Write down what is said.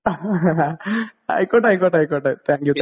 ആയിക്കോട്ടെ ആയിക്കോട്ടെ ആയിക്കോട്ടെ താങ്ക് യൂ.